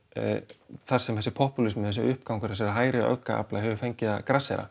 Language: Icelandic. þar sem þessi popúlismi þessi uppgangur hægri öfga hefur fengið að grassera